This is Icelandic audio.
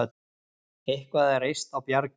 Eitthvað er reist á bjargi